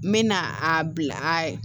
N mɛna a bila